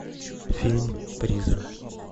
фильм призрак